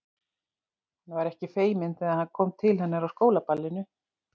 Hann var ekki feiminn þegar hann kom til hennar á skólaballinu.